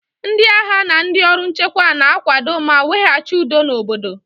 Ndị agha na ndị ọrụ nchekwa na-akwado ma weghachi udo n'obodo